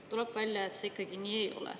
Tuleb välja, et see ikkagi nii ei ole.